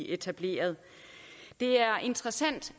etableret det er interessant